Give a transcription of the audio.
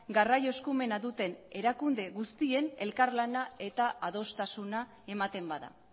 garraio eskumena duten erakunde guztien elkarlana eta adostasuna ematen bada